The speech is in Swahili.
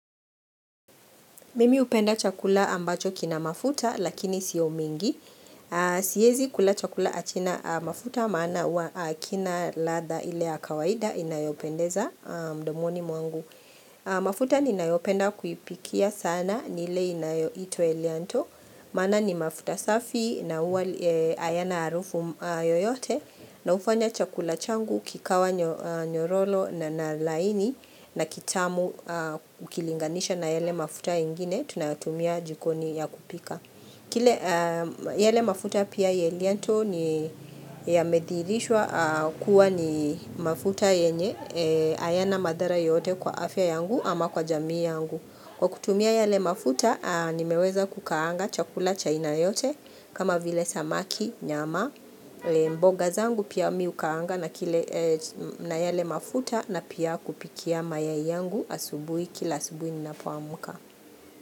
Mimi hupenda chakula ambacho kina mafuta lakini siyo mingi. Siezi kula chakula hakina mafuta maana huwa hakina ladha ile ya kawaida inayopendeza mdomoni mwangu. Mafuta ninayopenda kuipikia sana nile inayito elianto. Maana ni mafuta safi na hayana harufu yoyote. Na hufanya chakula changu kikawa nyororo nalaini na kitamu ukilinganisha na yale mafuta ingine tunatumia jikoni ya kupika. Kile yale mafuta pia ya Eleanto ni yamedhihirishwa kuwa ni mafuta yenye hayana madhara yote kwa afya yangu ama kwa jamii yangu. Kwa kutumia yale mafuta, nimeweza kukaanga chakula cha aina yote kama vile samaki, nyama, mboga zangu pia mimi ukaanga na yale mafuta na pia kupikia mayai yangu asubuhi kila asubuhi ninapoamuka.